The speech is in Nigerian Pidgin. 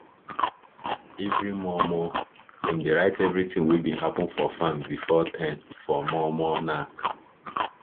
everi mor mor dem dey write everithing wey bin happen for farm before ten for mor mor nack